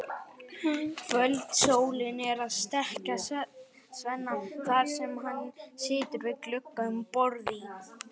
Kvöldsólin er að steikja Svenna þar sem hann situr við glugga um borð í